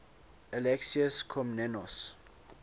alexius komnenos